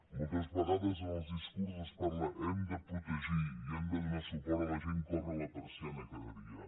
moltes vegades en els discursos es parla hem de protegir i hem de donar suport a la gent que obra la persiana cada dia